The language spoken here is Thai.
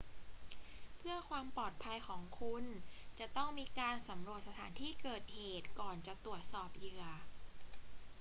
เพื่อความปลอดภัยของคุณ จะต้องมีการสำรวจสถานที่เกิดเหตุก่อนจะตรวจสอบเหยื่อ